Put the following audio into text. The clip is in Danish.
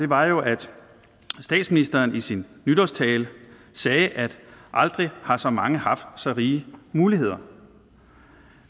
var jo at statsministeren i sin nytårstale sagde at aldrig har så mange haft så rige muligheder